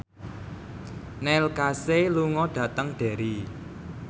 Neil Casey lunga dhateng Derry